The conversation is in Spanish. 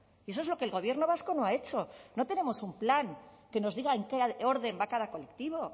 y eso es lo que el gobierno vasco no ha hecho no tenemos un plan que nos diga en qué orden va cada colectivo